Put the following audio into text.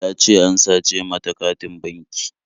Ta ce an sace mata katin banki